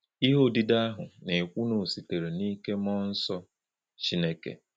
Ihe odide ahụ na-ekwu na ọ sitere n’ike mmụọ nsọ Chineke.